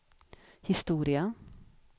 historia